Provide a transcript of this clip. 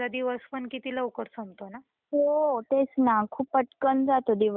हो तेच ना खूप पटकन जातो दिवस कळत पण नाही.